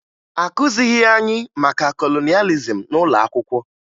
Akụzighi anyị maka kolonịalizim n'ụlọ akwụkwọ